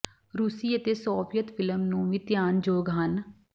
ਰੂਸੀ ਅਤੇ Soviet film ਨੂੰ ਵੀ ਧਿਆਨ ਯੋਗ ਹਨ